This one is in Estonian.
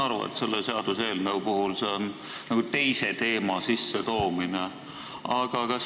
Ma saan aru, et selle seaduseelnõu puhul on see nagu teise teema sissetoomine, aga ikkagi.